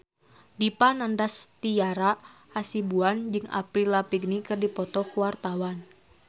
Dipa Nandastyra Hasibuan jeung Avril Lavigne keur dipoto ku wartawan